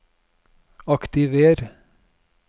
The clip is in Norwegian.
aktiver